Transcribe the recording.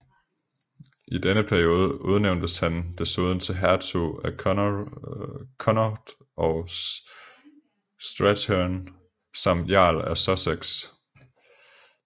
I denne periode udnævntes han desuden til hertug af Connaught og Strathearn samt jarl af Sussex